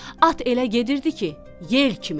At elə gedirdi ki, yel kimi.